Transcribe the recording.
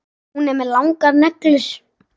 Hún er með langar neglur.